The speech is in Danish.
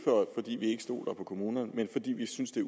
stoler på kommunerne men fordi vi synes det